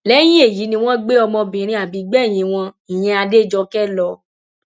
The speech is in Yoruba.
lẹyìn èyí ni wọn gbé ọmọbìnrin àbígbẹyìn wọn ìyẹn adéjọkè lọ